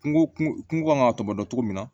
Kungo kungo kan ka tɔbɔtɔ cogo min na